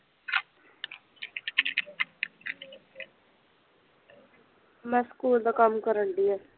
ਮੈਂ ਸਕੂਲ ਦਾ ਕੰਮ ਕਰਨ ਡੀ ਹਾਂ